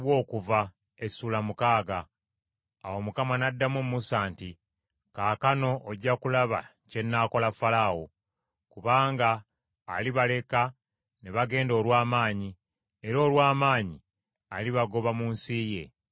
Awo Mukama n’addamu Musa nti, “Kaakano ojja kulaba kye nnaakola Falaawo. Kubanga alibaleka ne bagenda olw’amaanyi, era olw’amaanyi alibagoba mu nsi ye.”